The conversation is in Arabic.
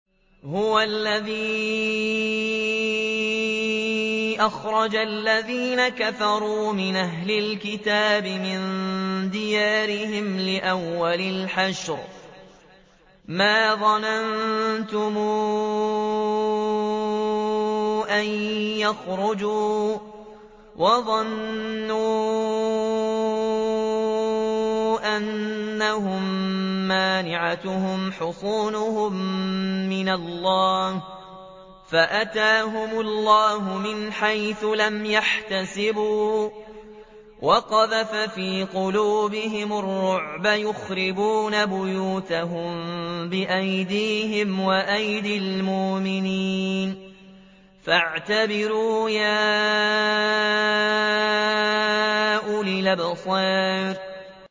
هُوَ الَّذِي أَخْرَجَ الَّذِينَ كَفَرُوا مِنْ أَهْلِ الْكِتَابِ مِن دِيَارِهِمْ لِأَوَّلِ الْحَشْرِ ۚ مَا ظَنَنتُمْ أَن يَخْرُجُوا ۖ وَظَنُّوا أَنَّهُم مَّانِعَتُهُمْ حُصُونُهُم مِّنَ اللَّهِ فَأَتَاهُمُ اللَّهُ مِنْ حَيْثُ لَمْ يَحْتَسِبُوا ۖ وَقَذَفَ فِي قُلُوبِهِمُ الرُّعْبَ ۚ يُخْرِبُونَ بُيُوتَهُم بِأَيْدِيهِمْ وَأَيْدِي الْمُؤْمِنِينَ فَاعْتَبِرُوا يَا أُولِي الْأَبْصَارِ